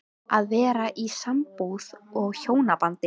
Að vera í sambúð og hjónabandi